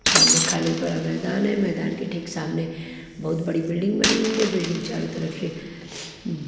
सामने खाली पड़ा मैदान है मैदान के ठीक सामने बहुत बड़ी बिल्डिंग बनी हुई है बिल्डिंग चारों तरफ शे --